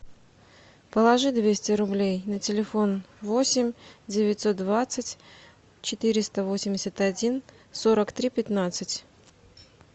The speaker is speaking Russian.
положи двести рублей на телефон восемь девятьсот двадцать четыреста восемьдесят один сорок три пятнадцать